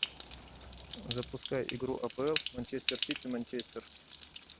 запускай игру апл манчестер сити манчестер